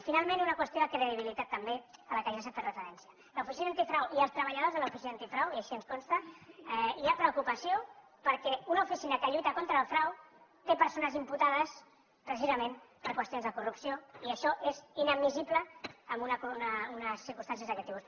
i finalment una qüestió de credibilitat també a la qual també s’ha fet referència a l’oficina antifrau i entre els treballadors de l’oficina antifrau i així ens consta hi ha preocupació perquè una oficina que lluita contra el frau té persones imputades precisament per qüestions de corrupció i això és inadmissible en unes circumstàncies d’aquest tipus